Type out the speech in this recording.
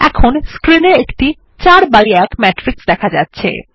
এখন স্ক্রিন এ একটি ৪ বাই ১ ম্যাট্রিক্স দেখা যাচ্ছে